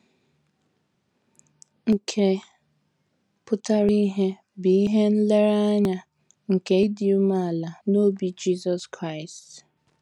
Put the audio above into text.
Nke pụtara ìhè bụ ihe nlereanya nke ịdị umeala n’obi Jisọs Kraịst.